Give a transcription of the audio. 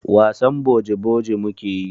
Wasan boji-boji mu ke yi.